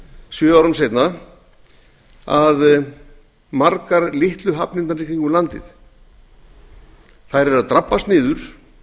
sjö árum seinna að margar litlu hafnirnar í kringum landið eru að drabbast niður